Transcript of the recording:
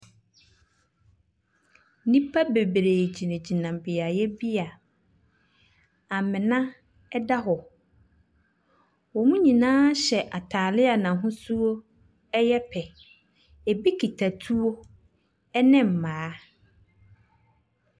Nnipa bebree gyingyina beayɛ bi a amena ɛda hɔ. Wɔ mo nyinaa hyɛ ataale a n'ahosuo ɛyɛ pɛ. Ɛbi kita tuo ɛne mmaa.